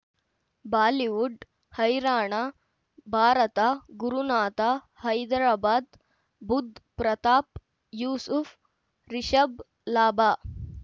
Bollywood ಹೈರಾಣ ಭಾರತ ಗುರುನಾಥ ಹೈದರಾಬಾದ್ ಬುಧ್ ಪ್ರತಾಪ್ ಯೂಸುಫ್ ರಿಷಬ್ ಲಾಭ